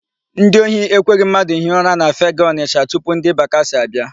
Ndị ohi ekweghị mmadụ hie ụra na Fegee, Ọnịsha tupu ndị bakasị abịa.